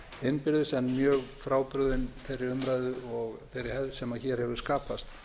innbyrðis en mjög frábrugðin þeirri umræðu og þeirri hefð sem hér hefur skapast